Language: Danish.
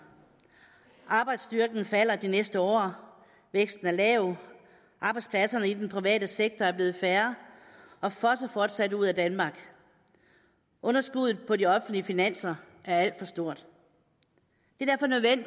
arbejdsstyrken falder de næste år væksten er lav arbejdspladserne i den private sektor er blevet færre og fosser fortsat ud af danmark og underskuddet på de offentlige finanser er alt for stort